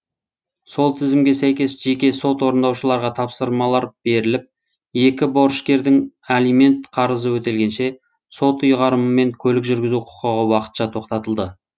сол тізімге сәйкес жеке сот орындаушыларға тапсырмалар беріліп екі борышкердің алимент қарызы өтелгенше сот ұйғарымымен көлік жүргізу құқығы уақытша тоқтатылды